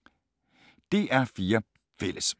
DR P4 Fælles